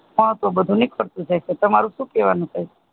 એમાં તું બધું નીકળ તું જાય છે તમારું સુ કહેવાનું છે.